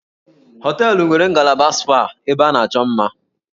Hóteélụ̀ nwere ngalaba spa ebe a na-achọ mma